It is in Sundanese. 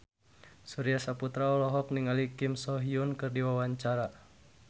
Surya Saputra olohok ningali Kim So Hyun keur diwawancara